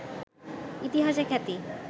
ইতিহাসে খ্যাতি